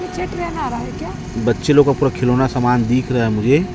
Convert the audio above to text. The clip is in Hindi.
बच्चे लोग का पूरा खिलौना समान दिख रहा है मुझे--